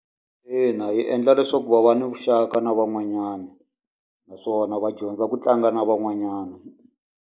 Ina yi endla leswaku va va ni vuxaka na van'wanyana. Naswona va dyondza ku tlanga na van'wanyana.